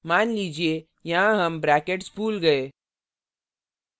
मान लीजिए यहाँ हम brackets भूल गए